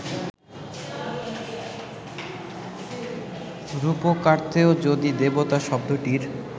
রূপকার্থেও যদি ‘দেবতা’ শব্দটির